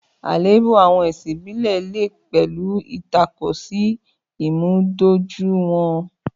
Àléébù àwọn ẹ̀sìn ìbílẹ̀ lè pẹ̀lú ìtakò sí ìmúdójúìwọ̀n.